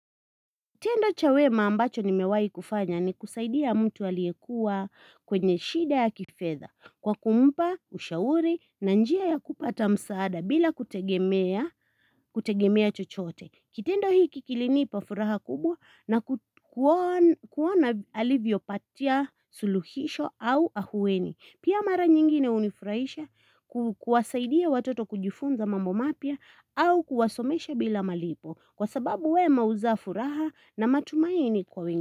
Tendo cha wema ambacho nimewai kufanya ni kusaidia mtu aliyekuwa kwenye shida ya kifedha kwa kumpa, ushauri na njia ya kupata msaada bila kutegemea kutegemea chochote. Kitendo hii kilinipa furaha kubwa na kuona alivyo patia suluhisho au afueni. Pia mara nyingine hunifurahisha kuwasaidia watoto kujifunza mambo mapya au kuwasomesha bila malipo. Kwa sababu wema huzaa furaha na matumaini kwa wengine.